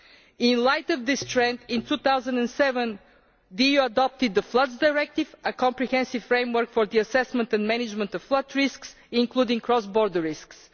In the light of this trend, in 2007 the EU adopted the Floods Directive, a comprehensive framework for the assessment and management of flood risks, including cross border risks.